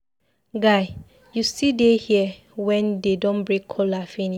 Guy, you still dey here wen dey don break kola finish.